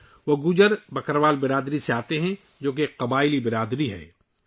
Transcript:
ان کا تعلق گجر بکروال برادری سے ہے ، جو ایک قبائلی برادری ہے